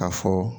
K'a fɔ